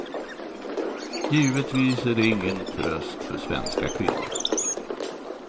Givetvis är det ingen tröst för svenska kvinnor.